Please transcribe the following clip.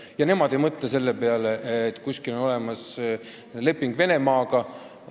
Ja nemad ei mõtle selle peale, et kuskil on olemas leping Venemaaga.